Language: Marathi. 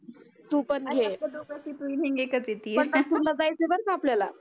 पंढरपूरला जायचं आहे बरं का आपल्याला